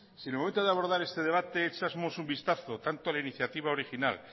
si en el momento de abordar este debate echásemos un vistazo tanto a la iniciativa original